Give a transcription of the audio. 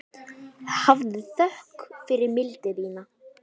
Hafðu þökk fyrir mildi þína.